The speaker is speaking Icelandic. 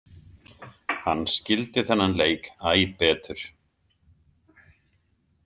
Hann skildi þennan leik æ betur.